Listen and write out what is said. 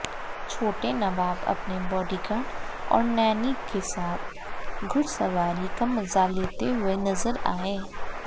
छोटे नवाब अपने बॉडीगार्ड और नैनी के साथ घुड़सवारी का मजा लेते हुए नजर आएं